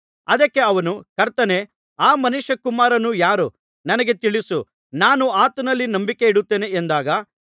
ಅದಕ್ಕೆ ಅವನು ಕರ್ತನೇ ಆ ಮನುಷ್ಯಕುಮಾರನು ಯಾರು ನನಗೆ ತಿಳಿಸು ನಾನು ಆತನಲ್ಲಿ ನಂಬಿಕೆ ಇಡುತ್ತೇನೆ ಎಂದಾಗ